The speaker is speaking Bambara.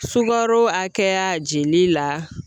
Sukaro hakɛya jeli la